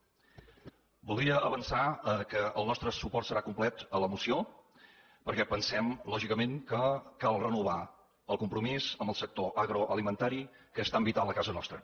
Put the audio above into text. voldria avançar que el nostre suport serà complet a la moció perquè pensem lògicament que cal renovar el compromís amb el sector agroalimentari que és tan vital a casa nostra